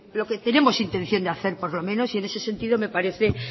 lo que tenemos intención de hacer por lo menos y en ese sentido me parece